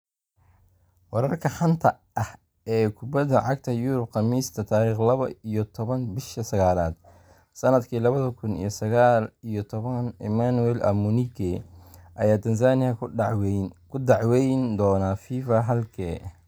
Wararka xanta ah ee kubada cagta Yurub Khamiista tariq laba iyo taban bisha sagalad sanadki labada kun iyo sagal iyo toban Emmanuel Amunike ayaa Tanzania ku dacweyn doona Fifa - halkee?